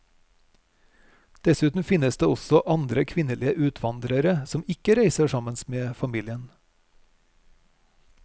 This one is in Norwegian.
Dessuten finnes det også andre kvinnelige utvandrere som ikke reiser sammen med familien.